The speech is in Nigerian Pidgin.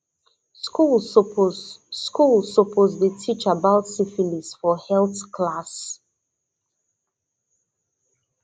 schools suppose schools suppose dey teach about syphilis for health class